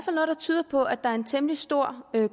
tyder på at der er en temmelig stor